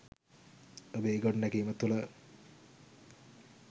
ඔබේ ගොඩනැගීම තුළ